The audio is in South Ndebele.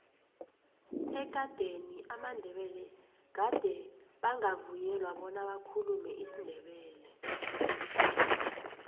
ekadeni amandebele gade bangavunyelwa bona bakhulume isindebele